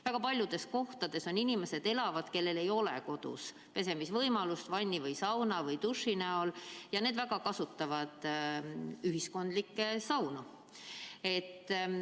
Väga paljudes kohtades elavad inimesed, kellel ei ole kodus vanni või sauna või dušši, ja nad kasutavad ühiskondlikke saunu.